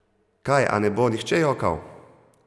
Kaj, a ne bo nihče jokal?